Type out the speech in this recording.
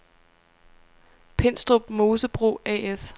Pindstrup Mosebrug A/S